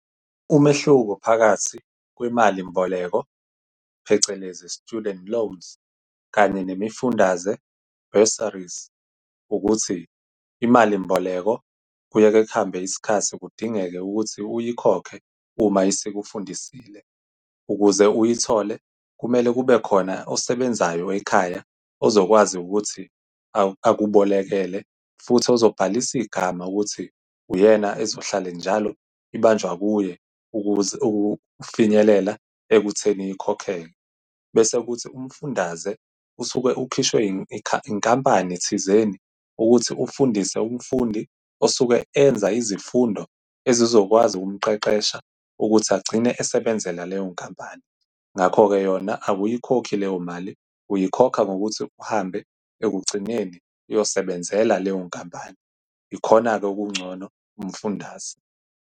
Umehluko phakathi kwemali mboleko, phecelezi student loans, kanye nemifundaze, bursaries, ukuthi imali mboleko kuye-ke kuhambe isikhathi kudingeke ukuthi uyikhokhe uma isikufundisile. Ukuze uyithole kumele kube khona osebenzayo ekhaya ozokwazi ukuthi akubolekele, futhi ozobhalisa igama ukuthi uyena ezohlala njalo ibanjwa kuye ukuze kufinyelela ekutheni ikhokeke. Bese kuthi umfundaze usuke ukhishwe inkampani thizeni ukuthi ufundise umfundi osuke enza izifundo ezizokwazi ukumqeqesha ukuthi agcine esebenzela leyo nkampani. Ngakho-ke yona awuyikhokhi leyo mali, uyikhoke ngokuthi uhambe ekugcineni uyosebenzela leyo nkampani. Ikhona-ke okungcono, umfundaze.